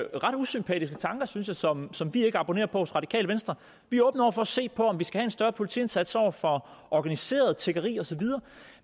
usympatiske tanker synes jeg som som vi ikke abonnerer på hos radikale venstre vi er åbne over for at se på om vi skal have en større politiindsats over for organiseret tiggeri osv